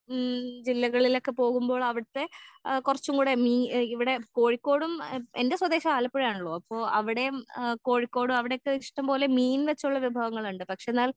ഉം ജില്ലകളിലൊക്കെ പോവുമ്പോൾ അവിടുത്തെ ആ കൊറച്ചുംകൂടെ മീ ഇവിടെ കോഴിക്കോടും എൻ്റെ സ്വതേശം ആലപ്പുഴ ആണലോ അപ്പൊ അവിടേം കോഴിക്കോടും അവിടെക്കെ ഇഷ്ട്ടംപോലെ മീൻ വെച്ചുള്ള വിഭവങ്ങൾണ്ട് പക്ഷെന്നാൽ